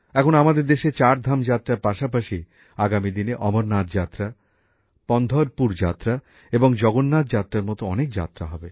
এখন আমাদের দেশে চারধাম যাত্রার পাশাপাশি আগামী দিনে অমরনাথ যাত্রা পন্ধরপুর যাত্রা এবং জগন্নাথ যাত্রার মতো অনেক যাত্রা হবে